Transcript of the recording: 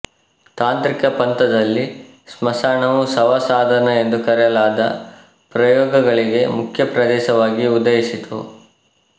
ತಾಂತ್ರಿಕ ಪಂಥದಲ್ಲಿ ಸ್ಮಶಾನವು ಶವ ಸಾಧನ ಎಂದು ಕರೆಯಲಾದ ಪ್ರಯೋಗಗಳಿಗೆ ಮುಖ್ಯ ಪ್ರದೇಶವಾಗಿ ಉದಯಿಸಿತು